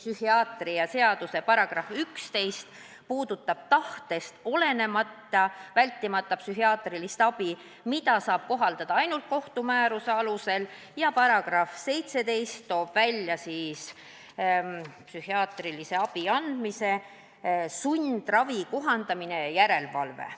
" Psühhiaatrilise abi seaduse § 11 puudutab tahtest olenematut vältimatut psühhiaatrilist abi, mida saab kohaldada ainult kohtu määruse alusel, ning § 17 toob välja psühhiaatrilise sundravi kohaldamise ja järelevalve.